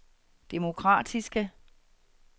demokratiske